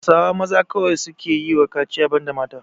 Hausawa maza kawai suke yiwa kaciya banda mata.